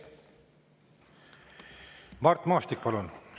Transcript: Mart Maastik, palun!